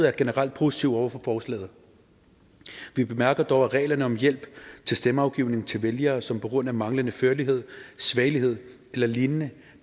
er generelt positiv over for forslaget vi bemærker dog at reglerne om hjælp til stemmeafgivning til vælgere som på grund af manglende førlighed svagelighed eller lignende